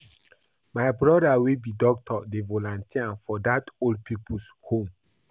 My broda wey be doctor dey volunteer for dat old pipo's home.